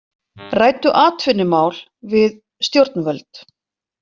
Ræddu atvinnumál við stjórnvöld